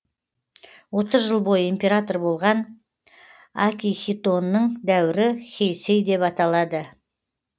отыз жыл бойы император болған акихитоның дәуірі хейсэй деп аталады